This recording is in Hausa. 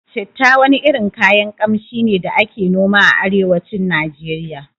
Citta wani irin kayan Ƙamshi ne da ake noma a arewacin Nijeriya